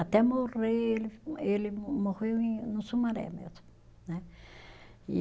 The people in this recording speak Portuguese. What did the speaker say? Até morrer, ele ele morreu em no Sumaré mesmo, né? E